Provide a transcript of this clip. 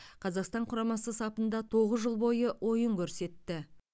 қазақстан құрамасы сапында тоғыз жыл бойы ойын көрсетті